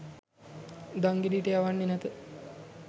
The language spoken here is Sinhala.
දංගෙඩියට යවන්නේ නැත.